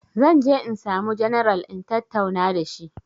Zan je insamu janaral in tatauna dashi